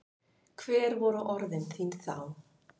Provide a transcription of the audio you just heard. Hver voru orð þín þá?